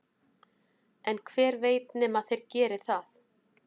en hver veit nema þeir geri það